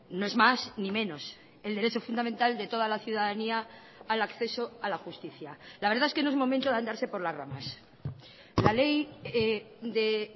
no es más ni menos el derecho fundamental de toda la ciudadanía al acceso a la justicia la verdad es que no es momento de andarse por las ramas la ley de